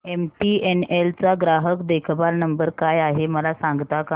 MTNL चा ग्राहक देखभाल नंबर काय आहे मला सांगता का